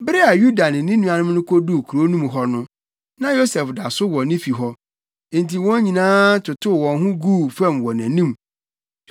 Bere a Yuda ne ne nuanom no koduu kurow no mu hɔ no, na Yosef da so wɔ ne fi hɔ. Enti wɔn nyinaa totow wɔn ho guu fam wɔ nʼanim.